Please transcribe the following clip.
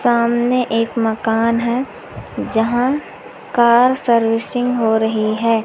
सामने एक मकान है जहां कार सर्विसिंग हो रही है।